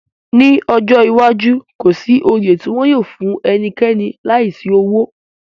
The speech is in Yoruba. Ni ọjọ iwaju, ko si oyè ti wọn yóò fun ẹnikẹni laisi owo